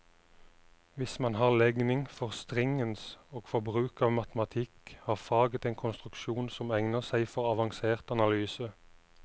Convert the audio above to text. Hvis man har legning for stringens og for bruk av matematikk, har faget en konstruksjon som egner seg for avansert analyse.